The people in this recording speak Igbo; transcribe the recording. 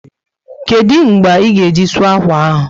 Kedụ mgbe ị ga-eji sụọ akwa ahụ?